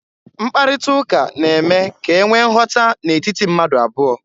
Mkparịta ụka na-eme ka e nwee nghọta n'etiti mmadụ abụọ.